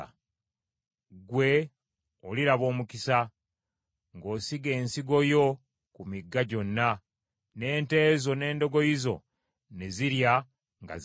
ggwe oliraba omukisa, ng’osiga ensigo y’oku migga gyonna, n’ente zo n’endogoyi zo ne zirya nga zeeyagala.